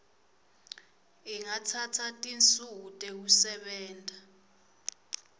ingatsatsa tinsuku tekusebenta